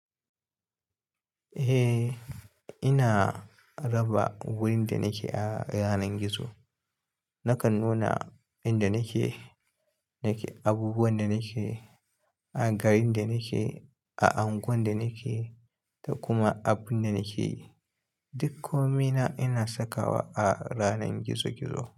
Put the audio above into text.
Eh, ina raba wurin da nake a ranar gizo. Nakan nuna inda nake, abubuwan da nake, garin da nake, a angwan da nake da kuma abun da nake yi. Duk komai na ina sakawa a yanar gizo gizo.